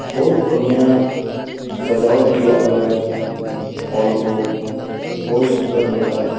बहुत बढ़िया सजावट किया हुआ है हॉल को बहुत सूंदर लग रहा है।